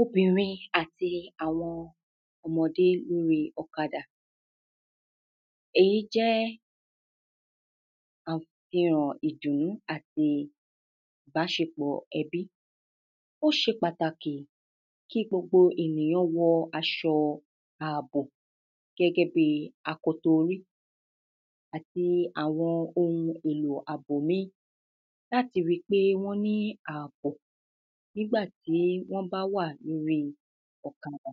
obìnrin àti àwọn ọmọdé lóri ọ̀kadà. èyí jẹ́ àfihàn ìdùnú àti ìbáṣepọ̀ ẹbí. ó ṣe pàtàkì kí gbogbo ènìyán wọ aṣọ àbò gẹ́gẹ́ bíi akoto orí. àti àwọn ohun èlò àbò míì láti ri pé wọ́n ní àbò nígbà tí wọ́n bá wà lóri ọ̀kadà.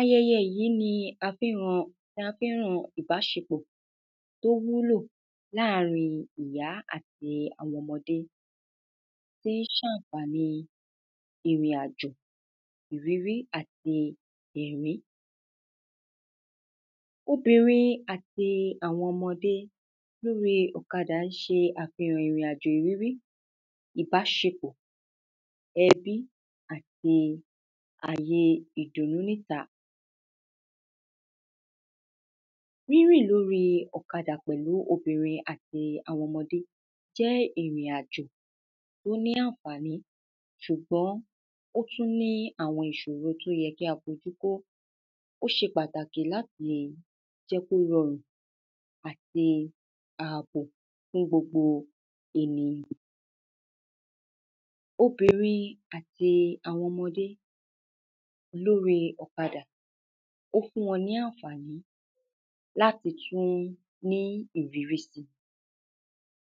ayẹyẹ yìí ni a fín mọ, ni a fín mọ ìbáṣepọ̀ tó wúlò láàrin ìyá àti àwọn ọmọdé. tín ṣàfàníi ìrìnàjò, ìrírí, àti ẹ̀rín. obìnrin àti àwọn ọmọdé lóri ọ̀kadà ṣe àfihàn ìrìnàjò ìrírí, ìbáṣepọ̀ ẹbí, àti àye ìdùnú níta. rírìn lóri ọ̀kadà pẹ̀lú obìnrin àti àwọn ọmọdé jẹ́ ìrìnàjò tó ní ànfàní, ṣùgbọ́n ó tún ní àwọn ìṣòro tó yẹ kí a fojú tó. ó ṣe pàtàkì láti lè jẹ́ kó rọrùn àti àbò fún gbogbo ènìyàn. obìnrin àti àwọn ọmọdé lóri ọ̀kadà, ó fún wọn ní ànfàní láti tún rí ìrírí si.